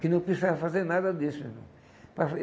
Que não precisava fazer nada disso, irmão. Para